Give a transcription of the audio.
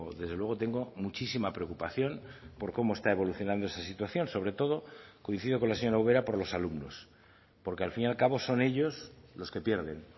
desde luego tengo muchísima preocupación por cómo está evolucionando esta situación sobre todo coincido con la señora ubera por los alumnos porque al fin y al cabo son ellos los que pierden